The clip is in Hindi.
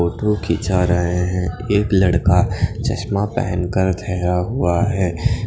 फोटो खीचा रहे हे एक लड़का चश्मा पहन कर खड़ा हुवा हैं।